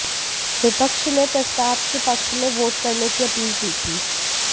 विपक्ष ने प्रस्ताव के पक्ष में वोट करने की अपील की थी